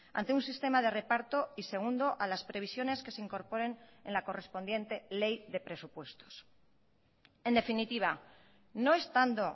ante un sistema de reparto y segundo a las previsiones que se incorporen en la correspondiente ley de presupuestos en definitiva no estando